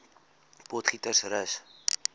potgietersrus